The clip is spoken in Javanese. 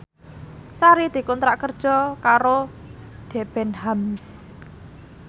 Sari dikontrak kerja karo Debenhams